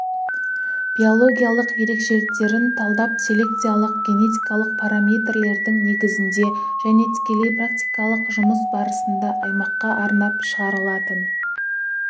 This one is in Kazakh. биологиялық ерекшеліктерін талдап селекциялық-генетикалық параметрлердің негізінде және тікелей практикалық жұмыс барысында аймаққа арнап шығарылатын